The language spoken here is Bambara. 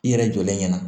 I yɛrɛ jɔlen ɲɛna